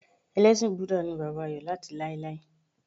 Elésìn Búdà ni bàbá Ayò láti láéláé